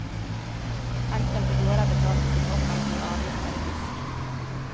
Enkelte gårder betalte sine offentlige avgifter i fisk.